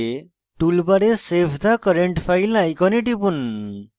toolbar save the current file icon টিপুন